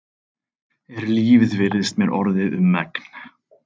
Er lífið virðist mér orðið um megn.